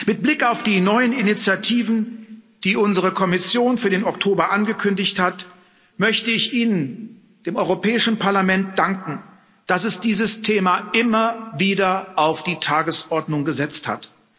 Mit Blick auf die neuen Initiativen, die unsere Kommission für den Oktober angekündigt hat, möchte ich Ihnen, dem Europäischen Parlament, danken, dass es dieses Thema immer wieder auf die Tagesordnung gesetzt hat.